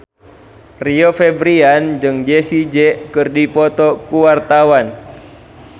Rio Febrian jeung Jessie J keur dipoto ku wartawan